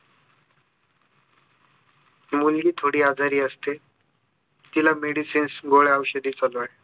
मुलगी थोडी आजारी असते तिला medicines गोळ्या औषधी चालू आहे